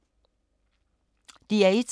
DR1